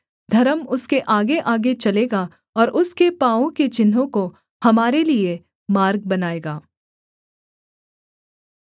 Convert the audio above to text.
धर्म उसके आगेआगे चलेगा और उसके पाँवों के चिन्हों को हमारे लिये मार्ग बनाएगा